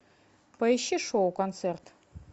поищи шоу концерт